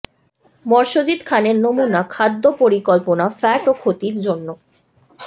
Mercedes খানের নমুনা খাদ্য পরিকল্পনা ফ্যাট ও ক্ষতির জন্য